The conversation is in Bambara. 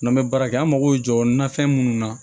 N'an bɛ baara kɛ an mako bɛ jɔ nafɛn minnu na